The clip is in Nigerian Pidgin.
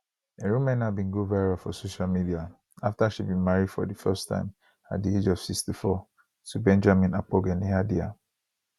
erumena bin go viral for social media afta she bin marry for di first time at di age of 64 to benjamin akpogheneadaiah